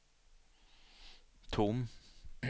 tom